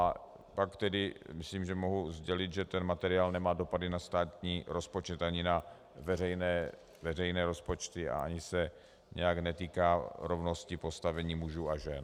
A pak tedy myslím, že mohu sdělit, že ten materiál nemá dopady na státní rozpočet ani na veřejné rozpočty a ani se nijak netýká rovnosti postavení mužů a žen.